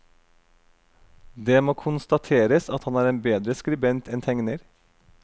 Det må konstateres at han er en bedre skribent enn tegner.